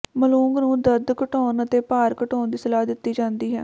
ਮਲੂੰਗੂ ਨੂੰ ਦਰਦ ਘਟਾਉਣ ਅਤੇ ਭਾਰ ਘਟਾਉਣ ਦੀ ਸਲਾਹ ਦਿੱਤੀ ਜਾਂਦੀ ਹੈ